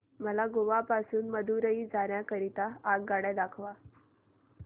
मला गोवा पासून मदुरई जाण्या करीता आगगाड्या दाखवा